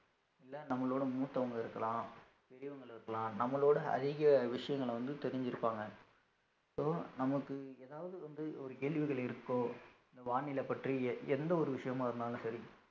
இல்ல நம்மளோட மூத்தவங்க இருக்கலாம் பெரியவங்களும் இருக்கலாம் நம்மளோட அதிக விஷயங்கள வந்து தெரிஞ்சிருப்பாங்க இப்போ நமக்கு ஏதாவது வந்து ஒரு கேள்விகள் இருக்கோ இந்த வானிலை பற்றிய எந்த ஒரு விஷயமா இருந்தாலும் சரி